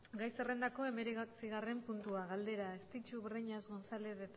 gai zerrendako hemeretzigarren puntua galdera estitxu breñas gonzález